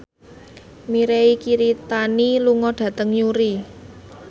Mirei Kiritani lunga dhateng Newry